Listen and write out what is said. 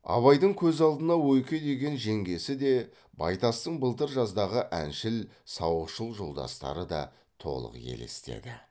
абайдың көз алдына ойке деген жеңгесі де байтастың былтыр жаздағы әншіл сауықшыл жолдастары да толық елестеді